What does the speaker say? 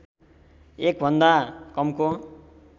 १ भन्दा कमको